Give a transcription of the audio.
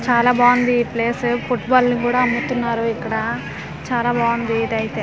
చాలా బాగుంది ఈ ప్లేసు పుట్బాల్ ని కూడా అమ్ముతున్నారు ఇక్కడ చాలా బాగుంది ఇదైతే.